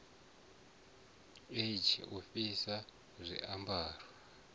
e g u fhisa zwiambaro